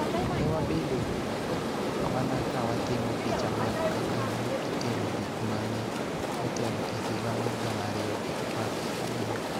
Ne wabedo mana ka watimo picha mag kaka ne itimo gik ma ne otelo e higa mar gana ariyo gi apar gi adek.